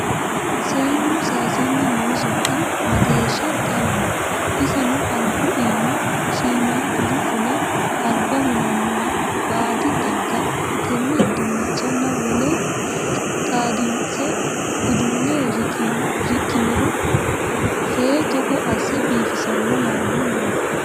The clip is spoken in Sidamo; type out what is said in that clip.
Seennu saysanni no sokka mageeshsha xawoho iseno albu iima shiimaduri fule alba hunanoha baadi xagga tene dinchanna wolere xaadinse udule riqiniro fee togo asse biifisano yaanni no